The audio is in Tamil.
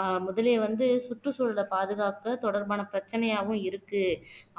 ஆஹ் முதலிய வந்து சுற்றுச்சூழலை பாதுகாக்க தொடர்பான பிரச்சனையாவும் இருக்கு